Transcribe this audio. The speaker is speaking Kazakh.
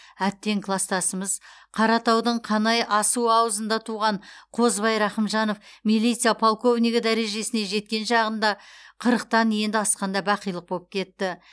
әттең кластасымыз қаратаудың қанай асуы аузында туған қозыбай рақымжанов милиция полковнигі дәрежесіне жеткен шағында қырықтан енді асқанда бақилық боп кетті